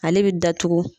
Ale bɛ datugu